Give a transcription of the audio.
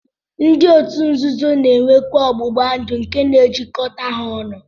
Ndi otu nzuzo na-enwekwa ọgbụgbandụ nke na-ejikọta ha ọnụ